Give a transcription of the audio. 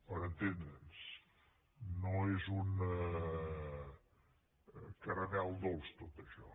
per entendre’ns no és un caramel dolç tot això